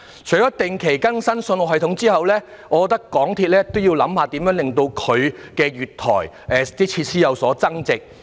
除了定期更新信號系統外，我覺得港鐵公司亦應要檢討如何令月台設施有所增值。